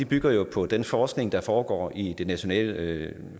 bygger på den forskning der foregår i det nationale